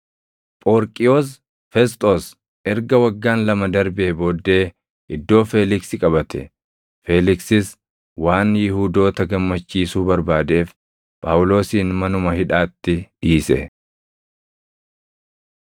Phoorqiyoos Fesxoos erga waggaan lama darbee booddee iddoo Feeliksi qabate; Feeliksis waan Yihuudoota gammachiisuu barbaadeef Phaawulosin manuma hidhaatti dhiise.